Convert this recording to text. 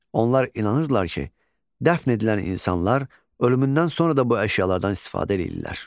Onlar inanırdılar ki, dəfn edilən insanlar ölümündən sonra da bu əşyalardan istifadə eləyirlər.